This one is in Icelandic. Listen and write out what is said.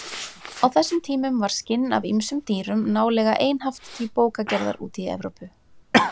Á þessum tímum var skinn af ýmsum dýrum nálega einhaft til bókagerðar úti í Evrópu.